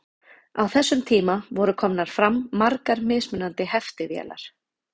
Á þessum tíma voru komnar fram margar mismunandi heftivélar.